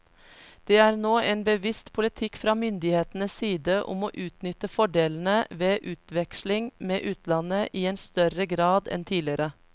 Det er nå en bevisst politikk fra myndighetenes side om å utnytte fordelene ved utveksling med utlandet i en mye større grad enn tidligere.